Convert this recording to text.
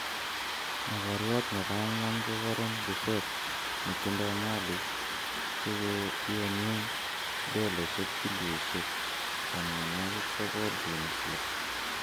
mogoriot nebo ang'wan ko Warren Buffett netindo malik chegoyonien dolaisiek bilionishek 90.6